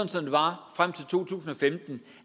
som det var frem til to tusind og femten